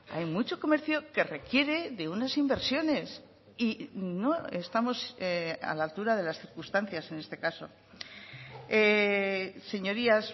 hay mucho comercio que requiere de unas inversiones y no estamos a la altura de las circunstancias en este caso señorías